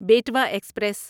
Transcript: Betwa express